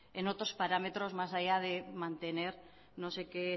en otros parámetros más allá de mantener no sé qué